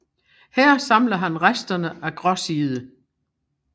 Her samler han resterne af Gråside